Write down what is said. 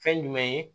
Fɛn jumɛn ye